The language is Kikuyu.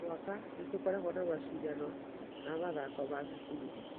O mwaka nĩ tũkoragwo na macindano ma mathako na cukuru ingĩ